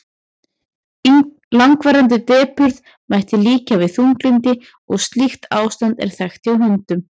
langvarandi depurð mætti líkja við þunglyndi og slíkt ástand er þekkt hjá hundum